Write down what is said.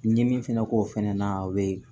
N ye min fɛnɛ k'o fana na a bɛ